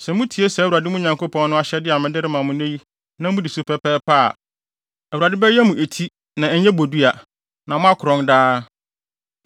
Sɛ mutie saa Awurade, mo Nyankopɔn no, ahyɛde a mede rema mo nnɛ yi na mudi so pɛpɛɛpɛ a, Awurade bɛyɛ mo eti na ɛnyɛ bodua, na moakorɔn daa.